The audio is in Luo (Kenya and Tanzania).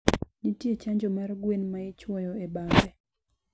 ntie chanjo mar gwen maichwoyo e bambe